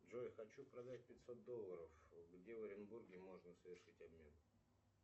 джой хочу продать пятьсот долларов где в оренбурге можно совершить обмен